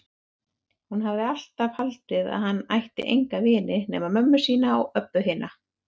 Hún hafði alltaf haldið að hann ætti enga vini nema mömmu sína og Öbbu hina.